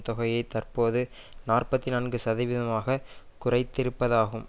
தொகையை தற்போது நாற்பத்தி நான்கு சதவீதமாக குறைத்திருப்பதாகும்